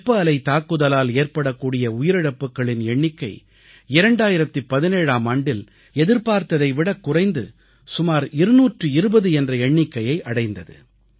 வெப்ப அலை தாக்குதலால் ஏற்படக்கூடிய உயிரிழப்புகளின் எண்ணிக்கை 2017ஆம் ஆண்டில் எதிர்பார்த்ததை விடக் குறைந்து சுமார் 220 என்ற எண்ணிக்கையை அடைந்தது